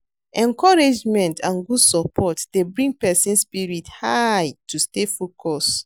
Encouragement and good support dey bring pesin spirit high to stay focused.